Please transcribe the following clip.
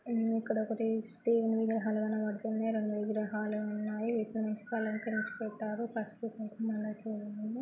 ఇక్కడ ఒకటి దేవుడ్ని విగ్రహాలు కనపడుతున్నాయి రెండు విగ్రహాలు ఉన్నాయి ఇక్కడ్నుంచి కలకరించి పెట్టారు పసుపు కుంకుమలైతే ఉన్నాయి.